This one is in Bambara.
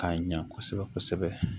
K'a ɲa kosɛbɛ kosɛbɛ